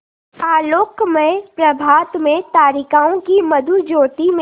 आलोकमय प्रभात में तारिकाओं की मधुर ज्योति में